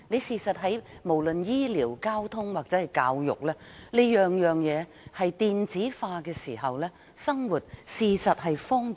事實上，當醫療、交通或教育等各方面均可以電子化的時候，生活會更為方便。